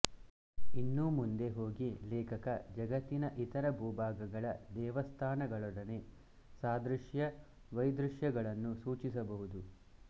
ಇನ್ನೂ ಮುಂದೆ ಹೋಗಿ ಲೇಖಕ ಜಗತ್ತಿನ ಇತರ ಭೂಭಾಗಗಳ ದೇವಸ್ಥಾನಗಳೊಡನೆ ಸಾದೃಶ್ಯವೈದೃಶ್ಯಗಳನ್ನು ಸೂಚಿಸಬಹುದು